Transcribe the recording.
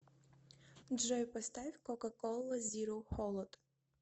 джой поставь кока кола зиро холод